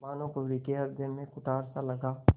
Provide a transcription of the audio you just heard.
भानुकुँवरि के हृदय में कुठारसा लगा